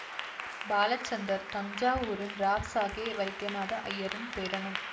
பாலச்சந்தர் தஞ்சாவூரின் ராவ் சாகேப் வைத்தியநாத அய்யரின் பேரனும்